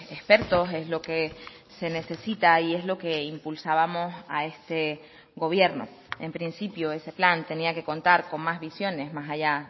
expertos es lo que se necesita y es lo que impulsábamos a este gobierno en principio ese plan tenía que contar con más visiones más allá